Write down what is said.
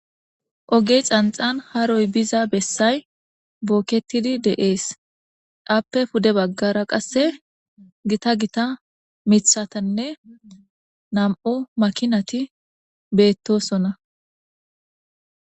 Ogge xaanxxan haaroy biiza bessay bookettidi de'ess aappe puude baggara qasse giita giita miththatine nam'u maakinati bettosona.